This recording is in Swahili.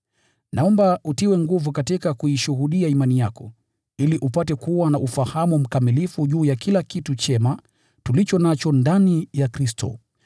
Naomba utiwe nguvu katika kuishuhudia imani yako, ili upate kuwa na ufahamu mkamilifu juu ya kila kitu chema tulicho nacho ndani ya Kristo.